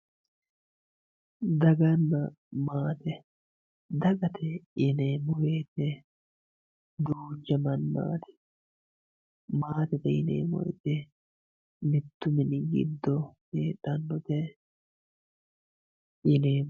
daganna maate dagate yineemmo wote duucha mannaati maatete yineemmo wote mittu mini giddo heedhannote yineemmo.